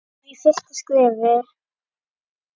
Klúður í fyrsta skrefi.